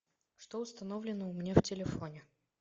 что установлено у меня в телефоне